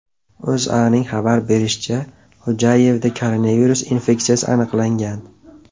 O‘zA’ning xabar berishicha , Xo‘jayevda koronavirus infeksiyasi aniqlangan.